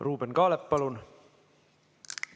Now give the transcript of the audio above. Ruuben Kaalep, palun!